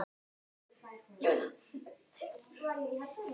Þá leggjum við í hann.